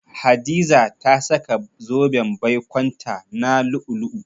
Hadiza ta saka zoben baikonta 'na lu'u-lu'u.